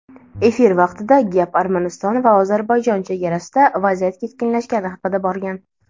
Efir vaqtida gap Armaniston va Ozarbayjon chegarasida vaziyat keskinlashgani haqida borgan.